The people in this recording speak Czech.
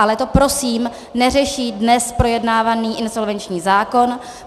Ale to prosím neřeší dnes projednávaný insolvenční zákon.